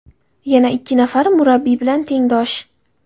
Yana ikki nafari murabbiy bilan tengdosh.